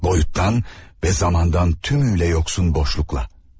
Boyutdan və zamandan tümüylə yoxsulun boşluqla.